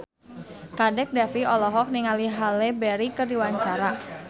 Kadek Devi olohok ningali Halle Berry keur diwawancara